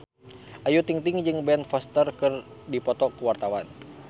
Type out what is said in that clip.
Ayu Ting-ting jeung Ben Foster keur dipoto ku wartawan